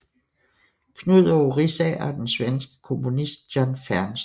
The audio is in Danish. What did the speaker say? Knudåge Riisager og den svenske komponist John Fernström